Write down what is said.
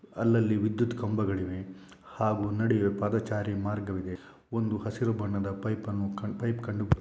ಅಲ್ಲಲ್ಲಿ ವಿದ್ಯುತ್ ಕಂಬಗಳಿವೆ. ಹಾಗು ನಡುವೆ ಪಾದಾಚಾರಿ ಮಾರ್ಗವಿದೆ. ಒಂದು ಹಸಿರು ಬಣ್ಣದ ಪೈಪ್ ಅನ್ನು ಪೈಪ್ ಕಂಡುಬರು--